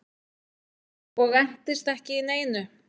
Og entist ekki í neinu.